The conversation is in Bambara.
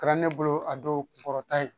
Kɛra ne bolo a dɔw kun kɔrɔta ye